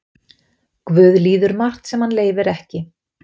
Guð líður margt sem hann leyfir ekki.